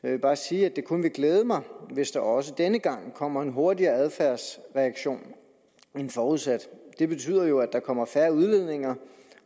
jeg bare sige at det kun vil glæde mig hvis der også denne gang kommer en hurtigere adfærdsreaktion end forudsat det betyder jo at der kommer færre udledninger